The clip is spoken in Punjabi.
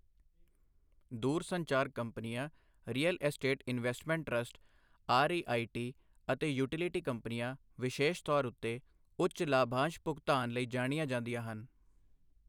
ਦੂਰਸੰਚਾਰ ਕੰਪਨੀਆਂ, real estate investment trust REIT. ਅਤੇ ਯੂਟਿਲਿਟੀ ਕੰਪਨੀਆਂ, ਵਿਸ਼ੇਸ਼ ਤੌਰ ਉੱਤੇ, ਉੱਚ ਲਾਭਾਂਸ਼ ਭੁਗਤਾਨ ਲਈ ਜਾਣੀਆਂ ਜਾਂਦੀਆਂ ਹਨ।